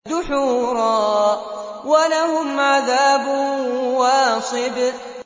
دُحُورًا ۖ وَلَهُمْ عَذَابٌ وَاصِبٌ